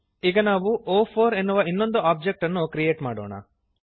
ಈಗ ನಾವು ಒ4 ಎನ್ನುವ ಇನ್ನೊಂದು ಒಬ್ಜೆಕ್ಟ್ ಅನ್ನು ಕ್ರಿಯೇಟ್ ಮಾಡೋಣ